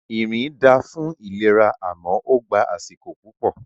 Ìrìn da fún ìlera àmọ́ ó gbá àsìkò púpọ̀